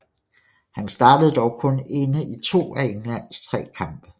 Han startede dog kun inde i to af Englands tre kampe